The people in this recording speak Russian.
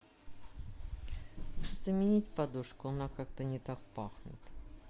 заменить подушку она как то не так пахнет